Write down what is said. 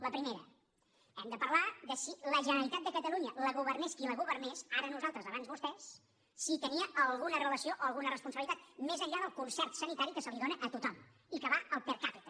la primera hem de parlar de si la generalitat de catalunya la governés qui la governés ara nosaltres abans vostès si hi tenia alguna relació o alguna responsabilitat més enllà del concert sanitari que se li dóna a tothom i que va al per capita